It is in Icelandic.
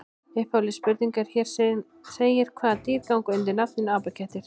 Upphafleg spurning er sem hér segir: Hvaða dýr ganga undir nafninu apakettir?